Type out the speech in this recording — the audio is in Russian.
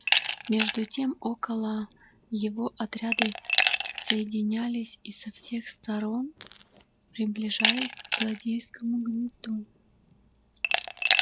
между тем около его отряды соединялись и со всех сторон приближались к злодейскому гнезду